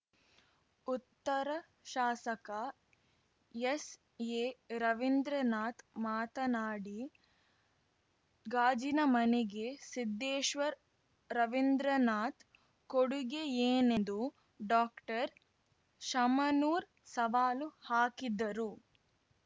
ಉತ್ತರ ಶಾಸಕ ಎಸ್‌ಎರವೀಂದ್ರನಾಥ್ ಮಾತನಾಡಿ ಗಾಜಿನ ಮನೆಗೆ ಸಿದ್ದೇಶ್ವರ್ ರವೀಂದ್ರನಾಥ್ ಕೊಡುಗೆಯೇನೆಂದು ಡಾಕ್ಟರ್ಶಾಮನೂರ್ ಸವಾಲು ಹಾಕಿದ್ದರು